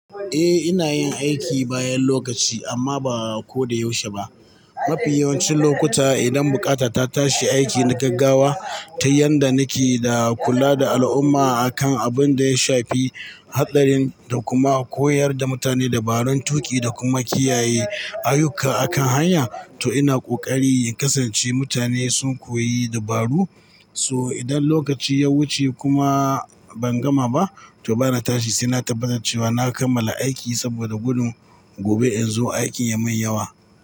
Eh ina yin aiki bayan lokaci amma ba ko da yaushe ba. Mafi yawancin lokuta idan bukata ta tashi aiki na gaggawa ta yanda nake da kula da al'umma akan abun da ya shafi hatsarin da kuma koyar da mutane dabarun tuƙi da kuma kiyaye ayuka akan hanya. To ina ƙoƙari in kasance mutane sun koyi dabaru. So idan lokaci ya wuce kuma ban gama ba to bana tashi sai na tabbatar cewa na kammala aiki saboda gudun gobe in zo aikin ya mun yawa.